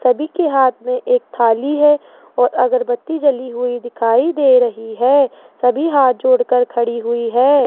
सभी के हाथ में एक थाली है और अगरबत्ती जली हुई दिखाई दे रही है सभी हाथ जोड़कर खड़ी हुई है।